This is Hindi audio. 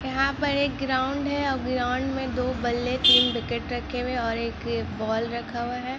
यहाँ पर एक ग्राउंड है ग्राउंड मे दो बले तिन विकेट और एक बॉल रखा हुआ है।